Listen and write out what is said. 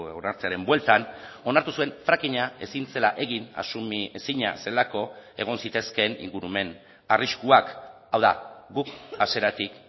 onartzearen bueltan onartu zuen frackinga ezin zela egin asumiezina zelako egon zitezkeen ingurumen arriskuak hau da guk hasieratik